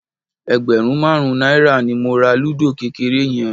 Ẹgbẹ̀rún márùn-ún náírà ni mo ra lúdò kékeré yẹn